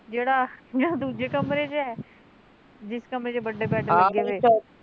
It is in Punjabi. ਜਿਹੜਾ ਦੂਜੇ ਕਮਰੇ ਚ ਐ ਜਿਸ ਕਮਰੇ ਚ ਵੱਡੇ ਬੈਡ ਲੱਗੇ ਵੇ